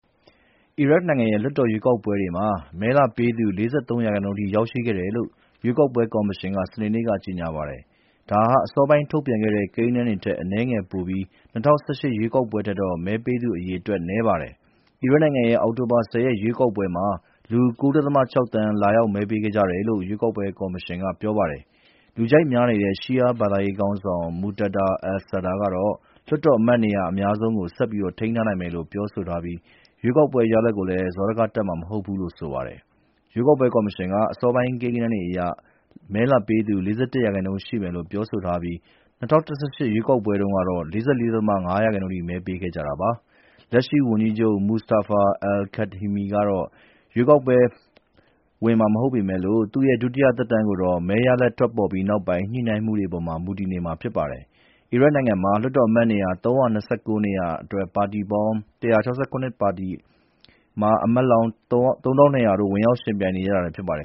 အီရတ်နိုင်ငံရဲ့ လွှတ်တော်ရွေးကောက်ပွဲတွေမှာ မဲလာပေးသူ ၄၃ ရာခိုင်နှုန်းအထိ ရောက်ရှိခဲ့တယ်လို့ ရွေးကောက်ပွဲကော်မရှင်က စနေနေ့က ကြေညာပါတယ်။ ဒါဟာ အစောပိုင်းထုတ်ပြန်တဲ့ ကိန်းဂဏန်းတွေထက် အနည်းငယ်ပိုပြီး ၂၀၁၈ ရွေးကောက်ပွဲထက်တော့ မဲပေးသူအရေအတွက် နည်းပါတယ်။ အီရတ်နိုင်ငံရဲ့ အောက်တိုဘာ ၁၀ ရွေးကောက်ပွဲမှာ လူ ၉.၆ သန်း လာရောက်မဲပေးခဲ့ကြတယ်လို့ ရွေးကောက်ပွဲကော်မရှင်က ပြောပါတယ်။ လူကြိုက်များနေတဲ့ ရှီးယားဘာသာရေးခေါင်းဆောင် Moqtada al-Sadr ကတော့ လွှတ်တော်အမတ်နေရာ အများဆုံးကို ဆက်ထိန်းထားနိုင်မယ်လို့ ပြောဆိုထားပြီး ရွေးကောက်ပွဲရလဒ်ကိုလည်း စောဒကတက်မှာ မဟုတ်ဘူးလို့ ဆိုပါတယ်။ ရွေးကောက်ပွဲကော်မရှင်က အစောပိုင်း ကိန်းဂဏန်းတွေအရ မဲလာပေးသူ ၄၁ ရာခိုင်နှုန်းရှိမယ်လို့ ပြောဆိုထားပြီး ၂၀၁၈ ရွေးကောက်ပွဲတုန်းကတော့ ၄၄.၅ ရာခိုင်နှုန်းအထိ မဲပေးခဲ့ကြတာပါ။ လက်ရှိဝန်ကြီးချုပ် Mustafa al-kadhimi ကတော့ ပြန်ပြီး ရွေးကောက်ပွဲဝင်မှာ မဟုတ်ပေမယ့်လို့ သူ့ရဲ့ ဒုတိယသက်တမ်းကိုတော့ မဲရလဒ်တွေ ထွက်ပေါ်ပြီး ညှိနှိုင်းမှုတွေအပေါ် မူတည်နေမှာ ဖြစ်ပါတယ်။ အီရတ်နိုင်ငံမှာ လွှတ်တော်အမတ်နေရာ ၃၂၉ နေရာအတွက် ပါတီပေါင်း ၁၆၇ ပါတီက အမတ်လောင်း ၃,၂၀၀ တို့ ဝင်ရောက်ယှဉ်ပြိုင်နေကြတာလည်း ဖြစ်ပါတယ်